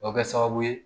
O bɛ kɛ sababu ye